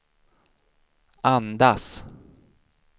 andas